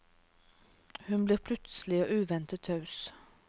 Hun blir plutselig og uventet taus.